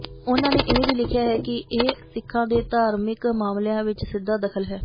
ਉਨ੍ਹਾ ਨੇ ਇਹ ਵੀ ਲਿਖਿਆ ਕਿ ਇਹ ਸਿੱਖਾਂ ਦੇ ਧਾਰਮਿਕ ਮਾਮਲਿਆਂ ਵਿੱਚ ਸਿੱਧਾ ਦਖਲ ਹੈ